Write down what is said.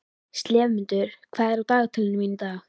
slefmundur, hvað er í dagatalinu í dag?